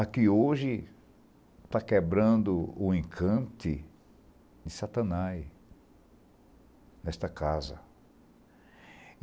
Aqui hoje está quebrando o encante de satanás nesta casa.